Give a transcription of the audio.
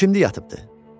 Bu kimdi yatıbdı?